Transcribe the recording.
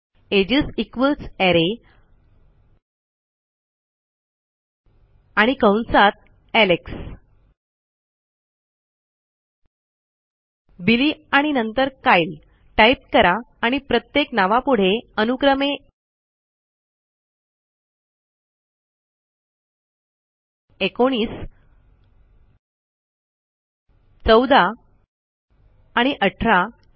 edges equals array आणि कंसात Alex Billy आणि नंतर कायल टाईप करा आणि प्रत्येक नावापुढे अनुक्रमे एकोणीस चौदा आणि अठरा लिहा